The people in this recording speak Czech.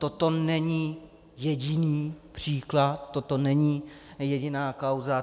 Toto není jediný příklad, toto není jediná kauza.